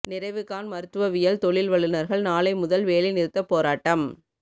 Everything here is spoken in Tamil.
நிறைவு காண் மருத்துவவியல் தொழில் வல்லுனர்கள் நாளை முதல் வேலை நிறுத்தப் போராட்டம்